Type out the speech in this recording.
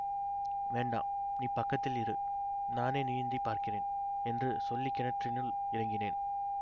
வேண்டா நீ பக்கத்தில் இரு நானே நீந்திப் பார்க்கிறேன் என்று சொல்லி கிணற்றினுள் இறங்கினேன்